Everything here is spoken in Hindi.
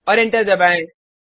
और एंटर दबाएँ